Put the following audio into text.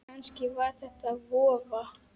Kannski var þetta vofa